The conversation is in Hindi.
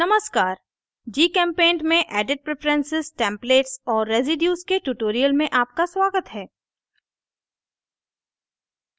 नमस्कार gchempaint में edit preferences templates और residues के tutorial में आपका स्वागत है